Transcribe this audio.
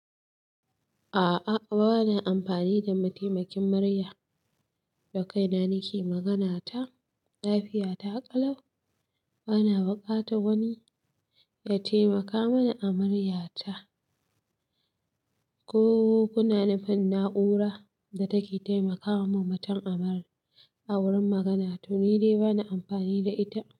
A'a bana amfani da mataimakin murya, da kai na nake magana ta lafiya, ta ƙalau. Bana buƙatan wani ya taimaka mini a murya ta. Ko kuna nufin na'ura da take taimakama mutum amara a wurin magana? To, ni dai bana amfani da ita.